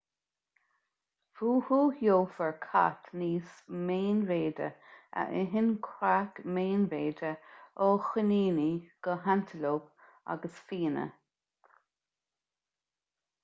fúthu gheofar cait níos meánmhéide a itheann creach meánmhéide ó choiníní go hantalóip agus fianna